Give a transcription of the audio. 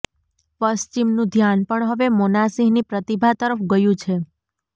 પશ્ચિમનું ધ્યાન પણ હવે મોનાસિંહની પ્રતિભા તરફ ગયું છે